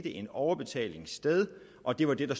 en overbetaling sted og det var det